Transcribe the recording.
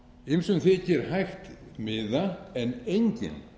ýmsum þykir hægt miða en enginn